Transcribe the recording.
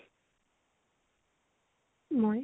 মই